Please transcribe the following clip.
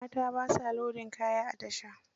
Mata ba sa lodin kaya a tasha.